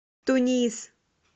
тунис